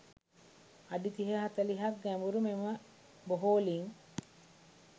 අඩි තිහ හතළිහක් ගැඹුරු මෙම බොහෝ ළිං